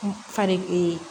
Fali